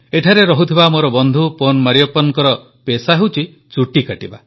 ଏଠାରେ ରହୁଥିବା ମୋର ବନ୍ଧୁ ପନ୍ ମରିୟପ୍ପନଙ୍କ ପେଶା ଚୁଟି କାଟିବା